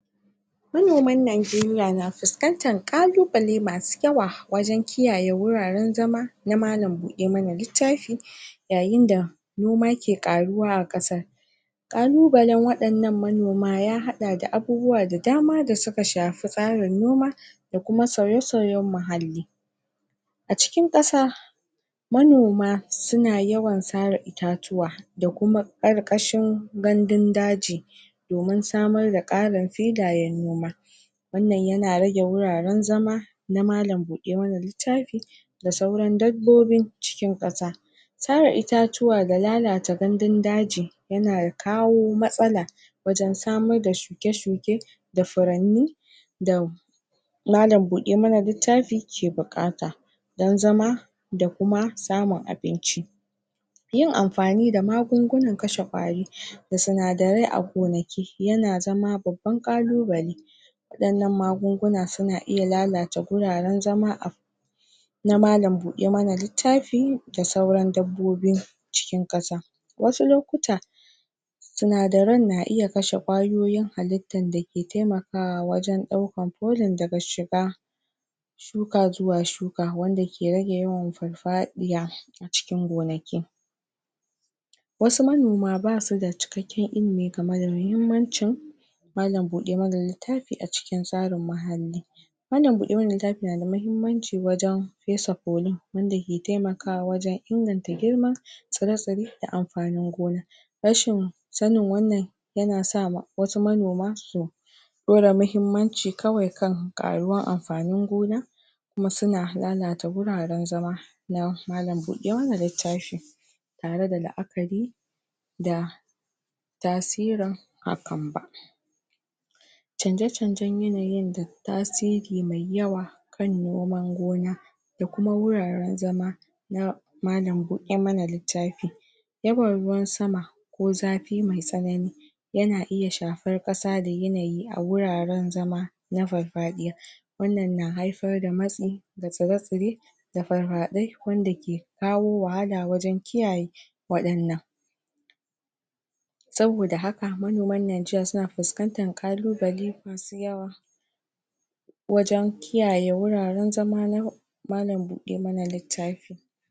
manoman Najeriya na fuskantan ƙalubale masu yawa wajen kiyaye wuraren zama na malan buɗe mana littafi yayin da noma ke ƙaruwa a ƙasar ƙalubalen waɗannan manoma ya haɗa da abubuwa da dama da suka shafi tsarin noma da kuma sauye sauyen muhalli a cikin ƙasa manoma suna yawan sare itatuwa da kuma ƙarƙashin gandun daji domin samar da ƙarin filayen noma wannan yana rage wuraren zama na malan buɗe mana littafi da sauran dabbobin cikin ƙasa sare itatuwa da lalata gandun daji yana kawo matsala wajen samar da shuke shuke da furanni da malan buɗe mana littafi ke buƙata don zama da kuma samun abinci yin amfani da magungunan kashe ƙwari da sinadarai a gonaki yana zama babban ƙalubale waɗannan magunguna suna iya lalata guraren zama a na malan buɗe mana littafi da sauran dabbobi cikin ƙasa wasu lokuta sinadaran na iya kashe ƙwayoyin halittan dake taimakawa wajen ɗaukan polin daga shiga shuka zuwa shuka wanda ke rage yawan farfaɗiya cikin gonaki wasu manoma basu da cikakken ilimi game da muhimmancin malan buɗe mana littafi a cikin tsarin muhalli malan buɗe mana littafi na da mahimmanci wajen pesa polin wanda ke taiamakawa wajen inganta girma tsire tsire da anfanin gona rashin sanin wannan yana sa wasu manoma su ɗora mahimmanci kawai kan ƙaruwan anpanin gona kuma suna lalata wuraren zama na malan buɗe mana littafi tare da la'akari da tasirin hakan ba canje canjen yanayin da tasiri mai yawa kan noman gona da kuma wuraren zama na malan buɗe mana littafi yawan ruwan sama ko zafi mai tsanani yana iya shafar ƙasa da yanayi a wuraren zama na farfaɗiya wannan na haifar da matsi ga tsire tsire da farfaɗai wanda ke kawo wahala wajen kiyaye waɗannan saboda haka manoman Najeriya na puskantan ƙalubale masu yawa wajen kiyaye wuraren zama na malan buɗe mana littafi